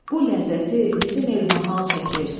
Bu ləzzəti bizim el mahal çəkir,